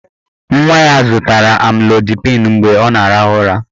Nwa ya zụtara amlodipịn mgbe ọ na-arahụ ụra.